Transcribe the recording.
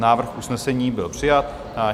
Návrh usnesení byl přijat.